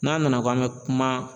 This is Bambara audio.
N'a nana k'an bɛ kuma